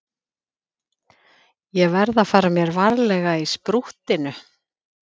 Ég verð að fara mér varlega í sprúttinu.